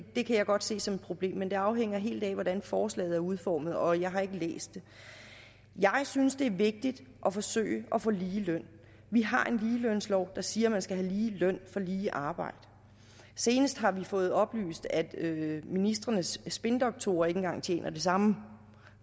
det kan jeg godt se som et problem men det afhænger helt af hvordan forslaget er udformet og jeg har ikke læst det jeg synes at det er vigtigt at forsøge at få ligeløn vi har en ligelønslov der siger at man skal have lige løn for lige arbejde senest har vi fået oplyst at ministrenes spindoktorer ikke engang tjener det samme